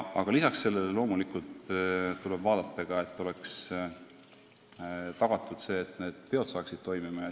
Aga lisaks sellele loomulikult tuleb garanteerida, et oleks tagatud see, et need peod saaksid toimuda.